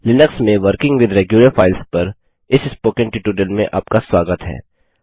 Linux में working with regular files पर इस स्पोकन ट्यूटोरियल में आपका स्वागत है